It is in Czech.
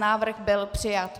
Návrh byl přijat.